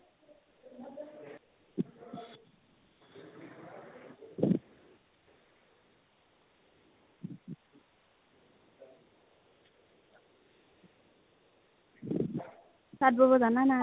তাতঁ বব জানানা ?